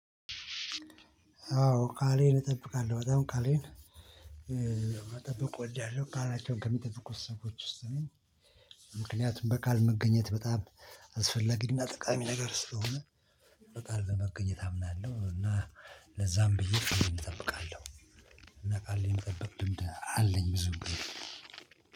አዎ ቃሌን እጠብቃለሁ በጣም ቃሌን መጠበቅ እወዳለሁ ቃላቸውን ከሚጠብቁ ሰዎች ውስጥ ነኝ። ምክንያቱም በቃል መገኘት በጣም አስፈለጊና ጠቃሚ ነገር ስለሆነ። በቃል ለመገኘት አምናለሁ እና ለዛም ብዬ እጠብቃለሁ። እና ቃሌን መጠበቅ ልምድ አለኝ ብዙ